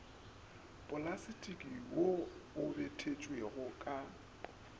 plastiki wo o bitietšwego ka